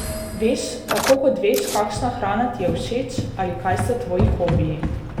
Veš, tako kot veš, kakšna hrana ti je všeč ali kaj so tvoji hobiji.